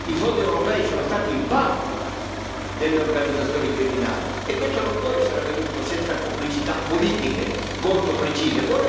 i fondi europei sono stati il bancomat delle organizzazioni criminali, e questo non può essere avvenuto senza complicità politiche molto precise.